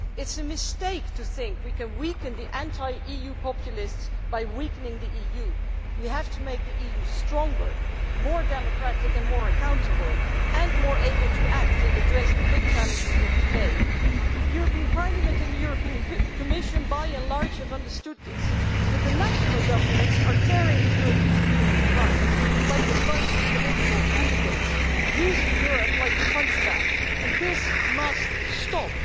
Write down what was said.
It is a mistake to think we can weaken the anti-EU populists by weakening the EU. We have to make the EU stronger, more democratic and more accountable, and more able to act and address the big challenges of today. The European Parliament and the European Commission have, by and large, understood this, but the national governments are tearing the European Union apart like a bunch of political hooligans, using Europe like a punchbag, and this must stop.